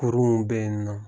Kurunw bɛ na.